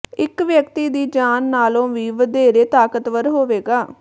ਇੱਕ ਵਿਅਕਤੀ ਦੀ ਜਾਨ ਨਾਲੋਂ ਵੀ ਵੱਧੇਰੇ ਤਾਕਤਵਰ ਹੋਵੇਗਾ